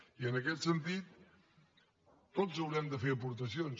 i en aquest sentit tots haurem de fer aportacions